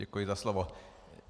Děkuji za slovo.